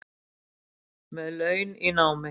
Með laun í námi